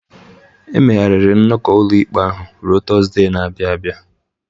E megharịrị nnọkọ ụlọikpe ahụ ruo Tuzdee na-abịa abịa.